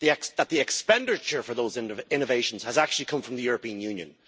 that the expenditure for those innovations has actually come from the European Union.